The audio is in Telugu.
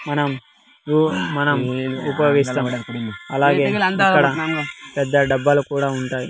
మనం మనం ఉపయోగిస్తాం అలాగే ఇక్కడ పెద్ద డబ్బాలు కూడా ఉంటాయి.